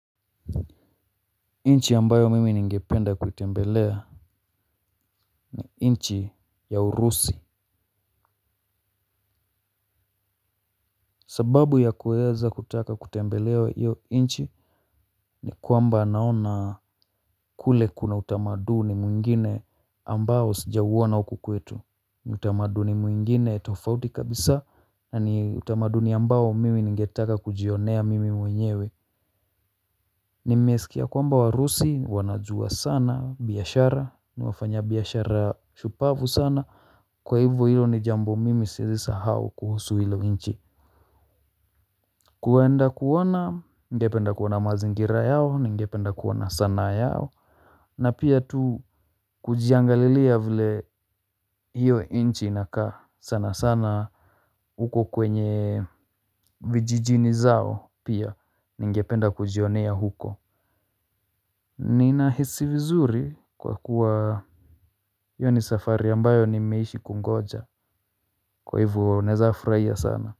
Nchi ambayo mimi ningependa kuitembelea nchi ya urusi sababu ya kuweza kutaka kutembelea hiyo nchi ni kwamba naona kule kuna utamaduni mwingine ambao sijauona huku kwetu utamaduni mwingine tofauti kabisa na ni utamaduni ambao mimi ningetaka kujionea mimi mwenyewe nimesikia kwamba warusi wanajua sana biashara ni wafanya biashara shupavu sana kwa hivyo hiyo ni jambo mimi siwezi sahau kuhusu hilo nchi. Kwenda kuona, ningependa kuona mazingira yao, ningependa kuona sanaa yao. Na pia tu kujiangalilia vile hiyo nchi inakaa sana sana. Huko kwenye vijijini zao pia, ningependa kujionea huko. Ninahisi vizuri kwa kuwa hiyo ni safari ambayo nimeishi kungoja kwa hivyo naweza furahia sana.